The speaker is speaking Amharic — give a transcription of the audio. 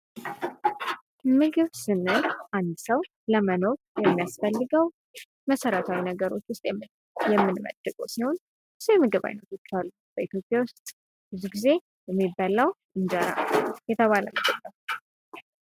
ምግብ ስንል አንድ ሰው ለመኖር ከሚያስፈልገው መሰረታዊ ነገሮች ውስጥ የምንመድበው ሲሆን ብዙ የምግብ ዓይነቶች አሉ። በኢትዮጵያ ውስጥ ብዙ ጊዜ የሚበላው እንጀራ የተባለ ምግብ ነው።